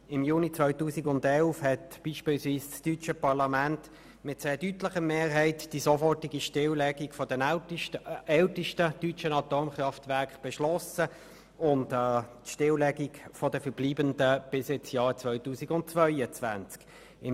Im Juni 2011 beschloss das Deutsche Parlament mit sehr deutlicher Mehrheit die sofortige Stilllegung des ältesten deutschen Atomkraftwerks sowie die Stilllegung der verbleibenden Werke bis zum Jahr 2022.